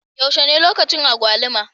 Yaushe ne lokaci agwaluma?